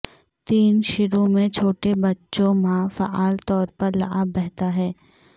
تین شروع میں چھوٹے بچوں ماہ فعال طور پر لعاب بہتا ہے